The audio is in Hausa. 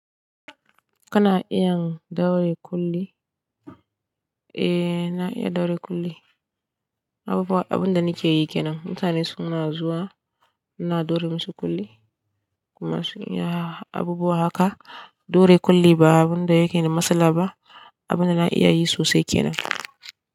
Kana iya ɗaure ƙulli? Eh, na iya ɗaure ƙulli. Abubuwa, abunda nike yi kenan. Mutane suna zuwa, muna ɗaure musu kulli. Kuma sun iya abubuwa haka. Ɗaure kulli ba abinda yake da matsala ba. Abinda na iya yi sosai kenan.